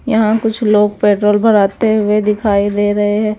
यहां कुछ लोग पेट्रोल भराते हुए दिखाई दे रहे हैं।